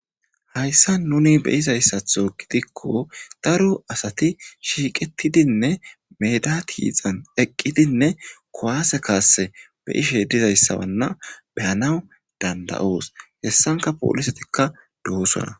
Hayssa nuni be7izayssatho gidikko dara asati shiiqetidinne meeda tiixan eqqidinne kowaase kaasse be7ishe dizayssawanna be7anaw danda7oos. Hessanka poolisetikka doosona.